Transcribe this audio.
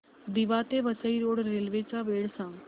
दिवा ते Vasai road railway च्या वेळा सांगा